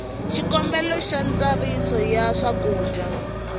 xikombelo xa ntsariso ya swakudya